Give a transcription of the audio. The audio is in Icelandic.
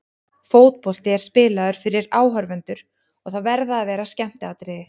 Fótbolti er spilaður fyrir áhorfendur og það verða að vera skemmtiatriði.